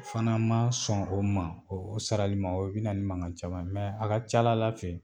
N fana ma sɔn o ma o sarali ma o ye bɛ na ni mankan caman mɛ a ka ca a la Ala fɛ